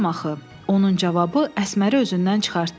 Onun cavabı Əsməri özündən çıxartdı.